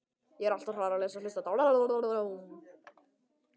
Hver er staðan á þýska hópnum?